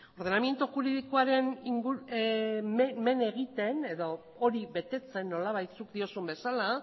ordenamiento juridikoa men egiten edo hori betetzen nolabait zuk diozun bezala